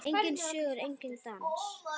Enginn söngur, enginn dans.